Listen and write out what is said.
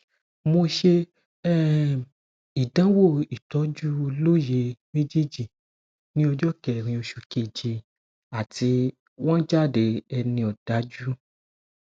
mo ṣe um ìdánwò ìtọjú lóyè mejeji ní ọjọ kẹrin oṣù keje àti wọn jáde ẹni òdájú